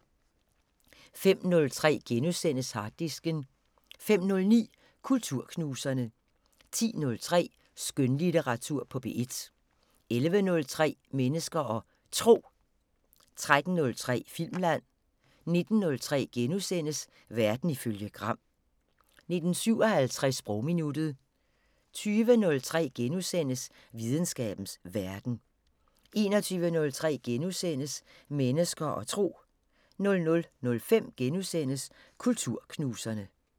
05:03: Harddisken * 09:05: Kulturknuserne 10:03: Skønlitteratur på P1 11:03: Mennesker og Tro 13:03: Filmland 19:03: Verden ifølge Gram * 19:57: Sprogminuttet 20:03: Videnskabens Verden * 21:03: Mennesker og Tro * 00:05: Kulturknuserne *